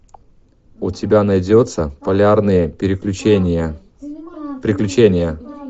у тебя найдется полярные переключения приключения